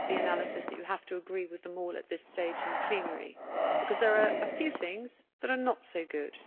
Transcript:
I do not accept the analysis that you have to agree with them all at this stage in plenary, because there are a few things that are not so good.